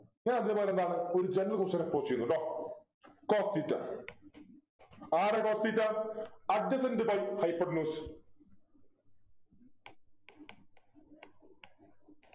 ഞാൻ അതേപോലെ എന്താണ് ഒരു general question approach ചെയ്യുന്നു ദാ cos theta ആരാ cos theta Adjacent by hypotenuse